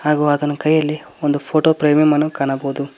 ಹಾಗು ಆತನ ಕೈಯಲ್ಲಿ ಒಂದು ಫೋಟೋ ಫ್ರೇಮಿ ಮನು ಕಾಣಬಹುದು.